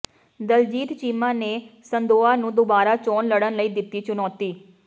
ਦਲਜੀਤ ਚੀਮਾ ਨੇ ਸੰਧੋਆ ਨੂੰ ਦੁਬਾਰਾ ਚੋਣ ਲੜਣ ਲਈ ਦਿੱਤੀ ਚੁਣੌਤੀ